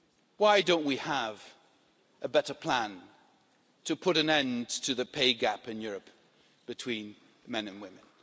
Why don't we have a better plan to put an end to the pay gap in Europe between men and women?